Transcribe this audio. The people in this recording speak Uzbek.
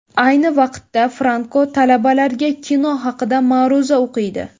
Ayni vaqtda Franko, talabalarga kino haqida ma’ruza o‘qiydi.